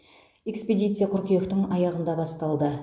экспедиция қыркүйектің аяғында басталды